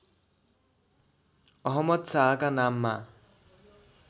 अहमद शाहका नाममा